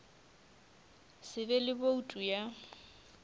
se be le boutu ya